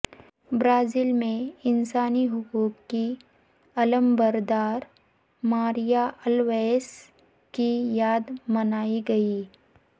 Brazil میں انسانی حقوق کی علمبردارماریہ الویس کی یاد منائی گئی